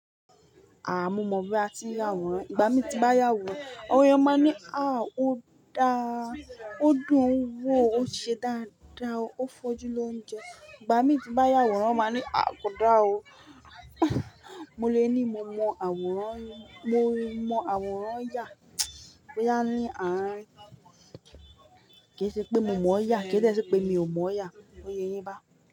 Ah mo mọ bí a tí n yà àwòrán. Ìbá mi tí bá yà àwòrán, ọ̀rẹ́ máa ní, "à o dáa, ó dùn ún wò ó ṣe dáadáa ó fojú ló ń jẹ". Ìgbá mi tí bá yà àwòrán won máa ní, "à ko dáa o". Mo lè ní mo mọ àwòrán, mo mọ àwòrán ya. Ó yá ní, "à kí ṣe pé mo mọ̀ ọ́ yà? Kí de ṣe pé mi ò mọ̀ yà?" Ó ye yín bá.